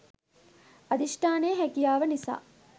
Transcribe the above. අධිෂ්ඨානය හැකියාව නිසා